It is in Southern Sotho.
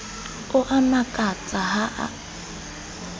o a mmakatsa ha o